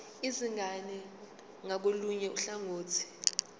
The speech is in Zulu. izingane ngakolunye uhlangothi